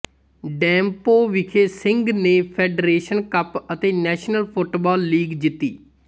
ਡੈਮਪੋ ਵਿਖੇ ਸਿੰਘ ਨੇ federation cup ਅਤੇ ਨੈਸ਼ਨਲ ਫੁੱਟਬਾਲ ਲੀਗ ਜਿੱਤੀ